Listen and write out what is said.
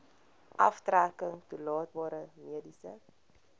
aftrekking toelaatbare mediese